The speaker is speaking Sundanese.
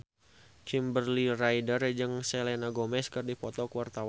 Kimberly Ryder jeung Selena Gomez keur dipoto ku wartawan